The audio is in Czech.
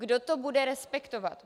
Kdo to bude respektovat?